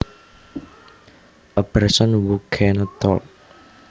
A person who cannot talk